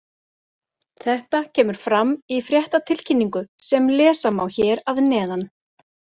Þetta kemur fram í fréttatilkynningu sem lesa má hér að neðan.